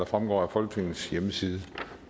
fremgår af folketingets hjemmeside